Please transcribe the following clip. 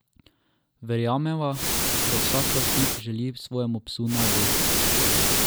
Verjameva, da vsak lastnik želi svojemu psu najboljše.